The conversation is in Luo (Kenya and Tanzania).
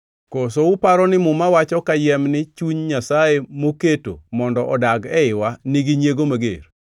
Koso uparo ni muma wacho kayiem ni chuny Nyasaye moketo mondo odag eiwa nigi nyiego mager.